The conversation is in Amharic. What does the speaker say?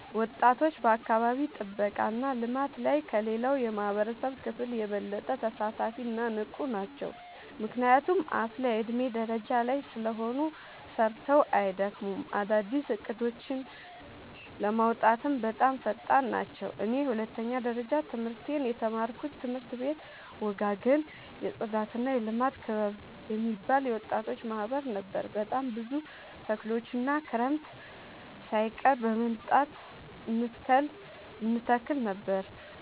ወጣቶች በአካባቢ ጥብቃ እና ልማት ላይ ከሌላው የማህበረሰብ ክፍል የበለጠ ተሳታፊ እና ንቁ ናቸው። ምክንያቱም አፋላ የዕድሜ ደረጃ ላይ ስለሆኑ ሰርተው አይደክሙም፤ አዳዲስ እቅዶችን ለማውጣትም በጣም ፈጣን ናቸው። እኔ የሁለተኛ ደረጃ ትምህርቴን የተማርኩበት ትምህርት ቤት ወጋገን የፅዳትና የልማት ክበብ የሚባል የወጣቶች ማህበር ነበር። በጣም ብዙ ተክሎችን ክረምት ሳይቀር በመምጣ እንተክል ነበር